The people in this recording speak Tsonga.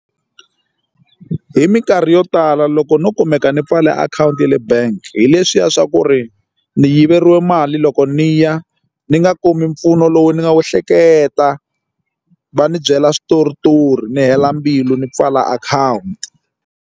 Hi minkarhi yo tala loko no kumeka ni pfale akhawunti ya le bank hi leswiya swa ku ri ni yiveriwa mali loko ni ya ni nga kumi mpfuno lowu ni nga wu hleketa va ni byela switoritori ni hela mbilu ni pfala akhawunti.